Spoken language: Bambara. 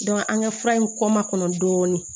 an ka fura in kɔ makɔnɔ dɔɔnin